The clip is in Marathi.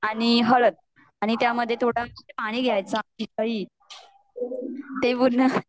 मीठ आणि हळद आणि त्यामध्ये थोड़ पाणी घ्याच